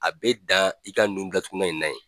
A be dan i ka nun datugunan in na yen